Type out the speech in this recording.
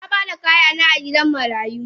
Nabada kayana a gidan marayu.